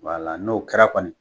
Wala n'o kɛra kɔni